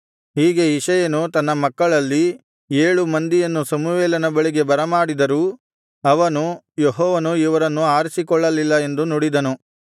ಹೀಗೆ ಇಷಯನು ತನ್ನ ಮಕ್ಕಳಲ್ಲಿ ಏಳು ಮಂದಿಯನ್ನು ಸಮುವೇಲನ ಬಳಿಗೆ ಬರಮಾಡಿದರೂ ಅವನು ಯೆಹೋವನು ಇವರನ್ನು ಆರಿಸಿಕೊಳ್ಳಲಿಲ್ಲ ಎಂದು ನುಡಿದನು